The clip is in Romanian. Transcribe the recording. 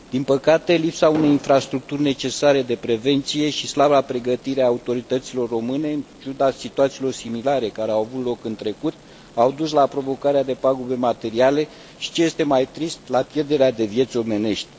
Din păcate, lipsa unei infrastructuri necesare de prevenție și slaba pregătire a autorităților române, în ciuda situațiilor similare care au avut loc în trecut, au dus la provocarea de pagube materiale și, ce este mai trist, la pierderea de vieți omenești.